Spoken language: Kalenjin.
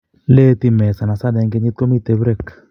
Ieeti meet sanasana eng kenyit komitei break